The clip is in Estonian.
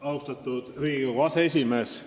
Austatud Riigikogu aseesimees!